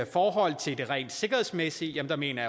forhold til det rent sikkerhedsmæssige mener